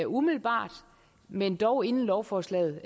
umiddelbart men dog inden lovforslaget